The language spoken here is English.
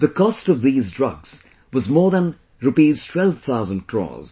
The cost of these drugs was more than Rs 12,000 crore